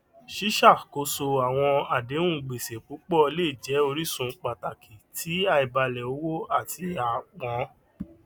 ṣíṣàkóso àwọn àdéhùn gbèsè púpọ lè jẹ orísun pàtàkì ti àìbalẹ owó àti àápọn